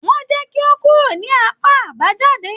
Wọn jẹ kí o kúrò ní apá àbájáde.